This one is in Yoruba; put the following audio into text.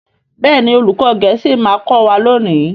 Béèni olùkó gèésì ma kò wá lóni.